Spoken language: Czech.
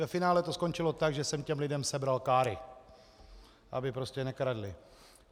Ve finále to skončilo tak, že jsem těm lidem sebral káry, aby prostě nekradli.